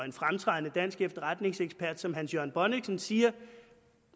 en fremtrædende dansk efterretningsekspert som hans jørgen bonnichsen siger